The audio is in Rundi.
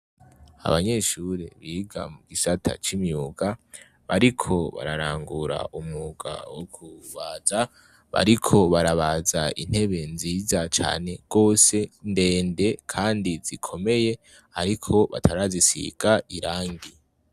Abanyeshuri biga mu gisata c'imyuga, bariko bararangura umwuka wo kubaza. Bariko barabaza intebe nziza cane gose ndende kandi zikomeye ariko batarazisiga irangi.